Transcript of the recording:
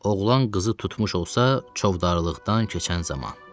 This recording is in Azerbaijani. Oğlan qızı tutmuş olsa, çovdarlıqdan keçən zaman.